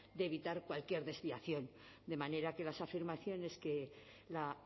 de evitar cualquier desviación de manera que las afirmaciones que la